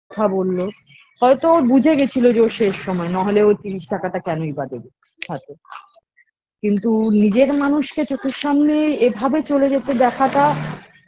কথা বললো হয়তো ও বুঝে গেছিলো যে ওর শেষ সময় না হলে ও তিরিশ টাকাটা কেনই বা দেবে হাতে কিন্তু নিজের মানুষকে চোখের সামনে এভাবে চলে যেতে দেখাটা